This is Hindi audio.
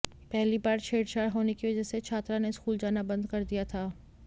पहली बार छेड़छाड़ होने की वजह से छात्रा ने स्कूल जाना बंद कर दिया था